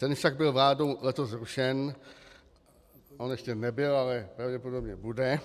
Ten však byl vládou letos zrušen - on ještě nebyl, ale pravděpodobně bude